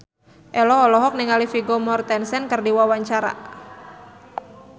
Ello olohok ningali Vigo Mortensen keur diwawancara